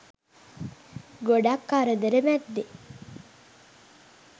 ගොඩක් කරදර මැද්දෙ